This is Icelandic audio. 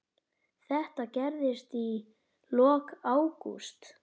Þetta gerðist í lok ágúst.